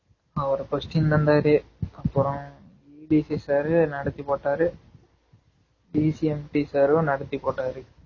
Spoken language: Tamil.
அவரு question தந்தாரு அப்பறம் DC sir நடத்தி போட்டாரு DC MT sir ரும் நடத்தி போட்டாரு